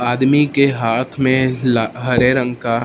आदमी के हाथ में ला हरे रंग का --